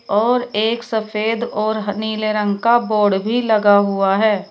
और एक सफेद और नीले रंग का बोर्ड भी लगा हुआ है।